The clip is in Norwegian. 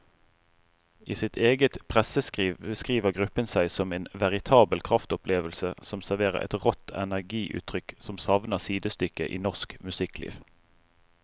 I sitt eget presseskriv beskriver gruppen seg som en veritabel kraftopplevelse som serverer et rått energiutrykk som savner sidestykke i norsk musikkliv.